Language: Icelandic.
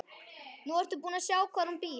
Nú ertu búin að sjá hvar hún býr.